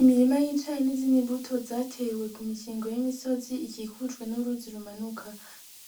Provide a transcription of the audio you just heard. Imirima y'icaye n'izinimbuto zatewe ku mikingo y'imisozi ikikujwe n'uruzi rumanuka